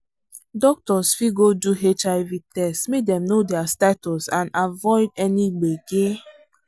doctors fit go do hiv test make dem know their status and avoid any gbege.